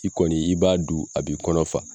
I kɔni i b'a du a b'i kɔnɔ fa.